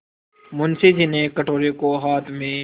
मुंशी जी ने कटोरे को हाथ में